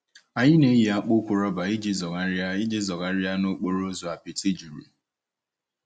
Anyị na-eyi akpụkpọ ụkwụ rọba iji zọgharịa iji zọgharịa n'okporo ụzọ apịtị juru.